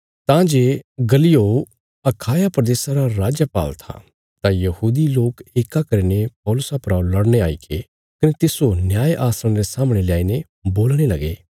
तां जे गल्लियो अखाया प्रदेशा रा राजपाल था तां यहूदी लोक येक्का करीने पौलुसा परा लड़ने आईगे कने तिस्सो न्याय आसणा रे सामणे ल्याईने बोलणे लगे